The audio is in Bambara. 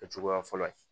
Kɛ cogoya fɔlɔ ye